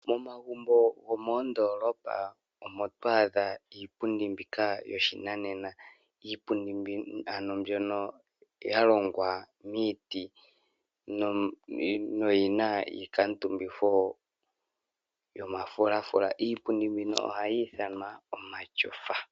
Momagumbo gomoondolopa omo to adha iipundi mbika yoshinanena. Iipundi mbyoka ano yalongwa miiti noyina iikamutumbitho yomafulafula, iipundi mbika ohayi ithanwa omashofa.